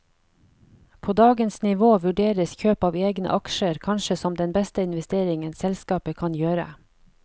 På dagens nivå vurderes kjøp av egne aksjer kanskje som den beste investeringen selskapet kan gjøre.